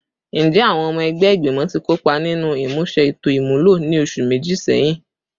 Njẹ awọn ọmọ ẹgbẹ igbimọ ti kopa ninu imuse eto imulo ni oṣu meji sẹhin?